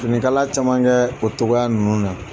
Finikala caman kɛ o togoya ninnu na